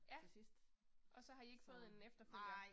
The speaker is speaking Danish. Ja. Og så har I ikke fået en efterfølger?